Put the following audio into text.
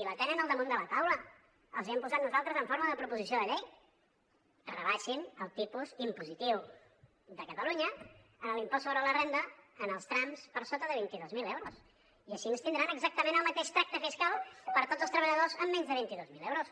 i la tenen al damunt de la taula els hi hem posat nosaltres en forma de proposició de llei rebaixin el tipus impositiu de catalunya en l’impost sobre la renda en els trams per sota de vint dos mil euros i així tindran exactament el mateix tracte fiscal per a tots els treballadors amb menys de vint dos mil euros